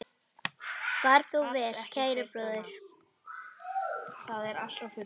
Far þú vel, kæri bróðir.